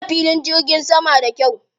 An gina filin jirgin saman da kyau.